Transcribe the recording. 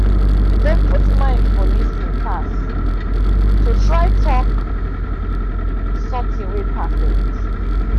dem put mind for lis ten pass to try talk something wey perfect.